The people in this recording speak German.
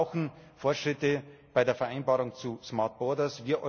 Wir brauchen Fortschritte bei der Vereinbarung zu smart borders.